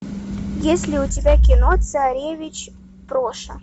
есть ли у тебя кино царевич проша